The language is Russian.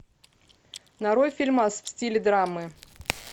нарой фильмас в стиле драмы